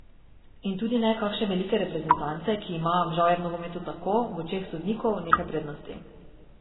In tudi ne kakšne velike reprezentance, ki ima, žal je v rokometu tako, v očeh sodnikov nekaj prednosti.